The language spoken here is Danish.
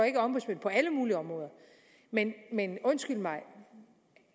ikke ombudsmænd på alle mulige områder men undskyld mig